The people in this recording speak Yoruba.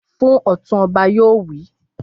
Fún Ọ̀tún! Ọba yóò wí.